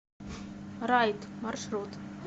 райд маршрут